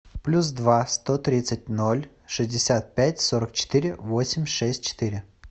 плюс два сто тридцать ноль шестьдесят пять сорок четыре восемь шесть четыре